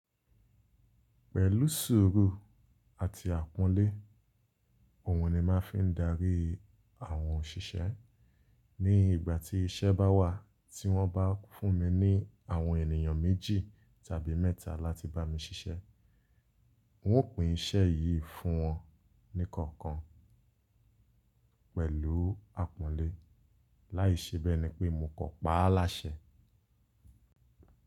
Pẹ̀lú sùúrù àti àpọ́nlé òhun ni màá fi ń darí àwọn òṣìṣẹ́ ní ìgbà tí iṣẹ́ bá wà tí wọ́n bá fún mi ní àwọn ènìyàn méjì tàbí mẹ́ta láti bá mi ṣiṣẹ́. N ó pín iṣẹ́ yìí fún wọn ní kọ̀ọ̀kan pẹ̀lú àpọ́nlé láìṣe bẹ́ẹ̀ ni pé mo kò pa á láṣẹ.